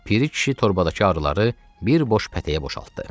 Piri kişi torbadakı arıları bir boş pətəyə boşaltdı.